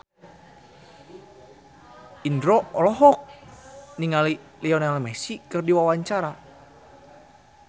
Indro olohok ningali Lionel Messi keur diwawancara